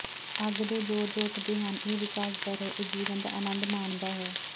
ਅੱਗ ਦੇ ਜੋਰਜ ਉੱਠਦੇ ਹਨ ਇਹ ਵਿਕਾਸ ਦਰ ਹੈ ਇਹ ਜੀਵਣ ਦਾ ਅਨੰਦ ਮਾਣਦਾ ਹੈ